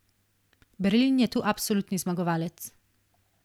Berlin je tu absolutni zmagovalec.